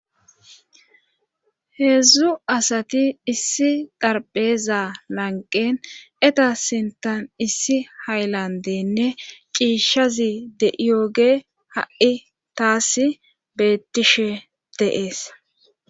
heedzdzu asati issi xarpheza lanqen eta sintan issi hayllandenne ciishazi de7iyooge ha7i taass bettishe dee'es